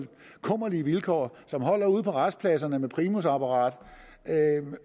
kummerlige vilkår og som holder ude på rastepladserne med primusapparat